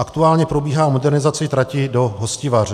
Aktuálně probíhá modernizace trati do Hostivaře.